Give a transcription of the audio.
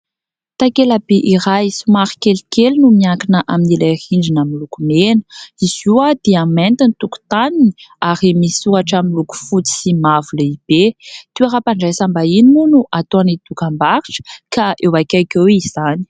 Takelaby iray somary kelikely no miankina amin'ilay rindrina miloko mena. Izy io dia mainty ny tokontaniny ary misy soratra miloko fotsy sy mavo lehibe. Toeram-pandraisambahiny moa no ataony dokam-barotra ka eo akaiky eo izany.